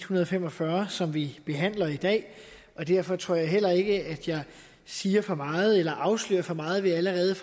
hundrede og fem og fyrre som vi behandler i dag og derfor tror jeg heller ikke jeg siger for meget eller afslører for meget ved allerede